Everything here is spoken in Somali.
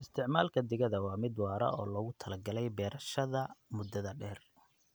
Isticmaalka digada waa mid waara oo loogu talagalay beerashada muddada dheer.